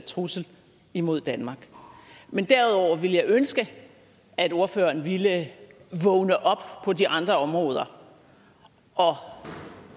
trussel imod danmark men derudover ville jeg ønske at ordføreren ville vågne op på de andre områder og